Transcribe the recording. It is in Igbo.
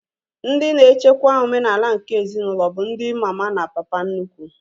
Ndị na-echekwa omenala nke ezinaụlọ bụ ndi mama na papa nnukwu